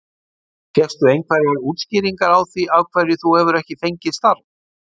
Fékkstu einhverjar útskýringar á því af hverju þú hefur ekki fengið starf?